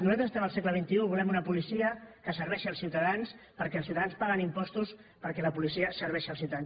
nosaltres estem al segle xxi volem una policia que serveixi els ciutadans perquè els ciutadans paguen impostos perquè la policia serveixi els ciutadans